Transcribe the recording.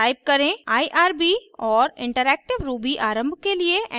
type करें irb और interactive ruby आरम्भ के लिए एंटर दबाएं